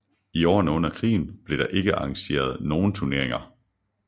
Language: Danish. I årene under krigen blev der ikke arrangeret nogle turneringer